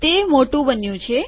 તે મોટું બન્યું છે